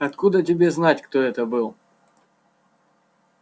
откуда тебе знать кто это был